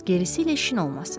Gerisiylə işin olmasın.